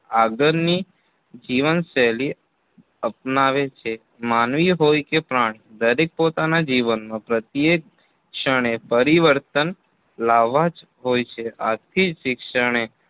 આગળની જીવનશૈલી અપનાવે છે. માનવી હોય કે પ્રાણી દરેક પોતાનાં જીવનમાં પ્રત્યેક ક્ષણે પરિવર્તન લાવા જ હોય છે. આથી જ શિક્ષણએ